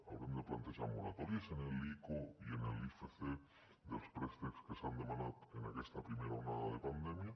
haurem de plantejar moratòries en l’ico i en l’icf dels préstecs que s’han demanat en aquesta primera onada de pandèmia